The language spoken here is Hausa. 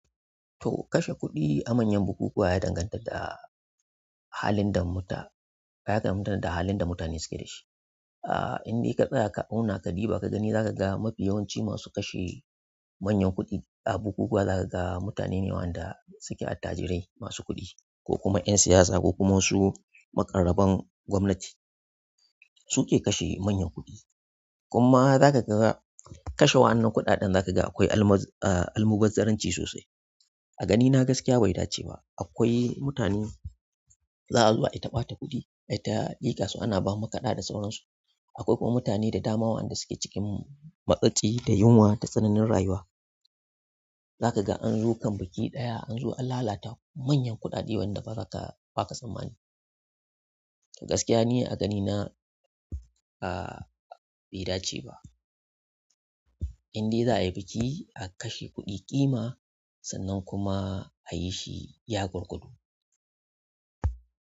To kashe kuɗi a manyan bukukuwa ya danganta da. Da halin da mutane suke dashi. Inde ka tsaya ka auna ka diba ka gani, zakaga mafi yawanci masu kashe manyan kuɗi a bukukuwa zakaga mutane ne waɗanda suke attajirai masu kuɗi ko kuma ƴan siyasa ko kuma wasu maƙaraban gwamnati su ke kashe manyan kuɗi. Kuma zakaga kashe waƴannan kuɗaɗen zakaga akwai almubazzaranci sosai. A ganina gaskiya bai dace ba. Akwai mutane za'a zo ayi taɓa ta kuɗi, aita lika su ana bawa makaɗa da sauransu. Akwai kuma mutane da dama waɗanda suke cikin matsatsi da yunwa da tsananin rayuwa. Zakaga anzo kan biki ɗaya anzo an lalata manyan kuɗaɗe waɗanda baka tsammani. To gaskiya ni a ganina bai dace ba inda za'ayi biki a kashe kuɗi ƙima sannan kuma a yi shi ya gurgudu.